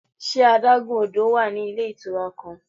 Ṣe adagun odo wa ni ile itura kan?